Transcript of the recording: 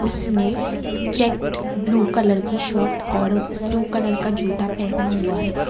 उस ने check blue colour की शर्ट और ब्लू कलर का जूता पहना हुआ है।